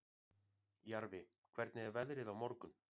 Jarfi, hvernig er veðrið á morgun?